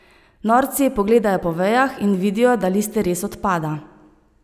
Norci pogledajo po vejah in vidijo, da listje res odpada.